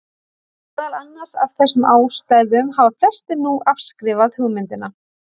Meðal annars af þessum ástæðum hafa flestir nú afskrifað hugmyndina.